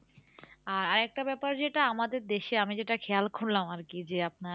আর আরেকটা ব্যাপার যেটা আমাদের দেশে আমি যেটা খেয়াল করলাম আরকি যে, আপনার